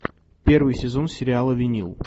первый сезон сериала винил